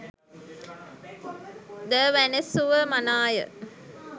ද වැනැසුව මනාය.